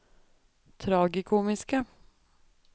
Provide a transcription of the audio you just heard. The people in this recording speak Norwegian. tragikomiske